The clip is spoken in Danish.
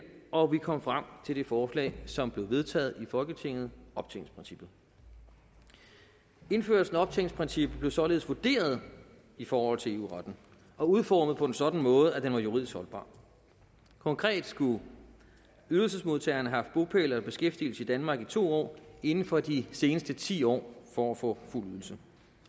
og vi kom frem til det forslag som blev vedtaget i folketinget optjeningsprincippet indførelsen af optjeningsprincippet blev således vurderet i forhold til eu retten og udformet på en sådan måde at den var juridisk holdbar konkret skulle ydelsesmodtagerne have bopæl eller beskæftigelse i danmark i to år inden for de seneste ti år for at få fuld ydelse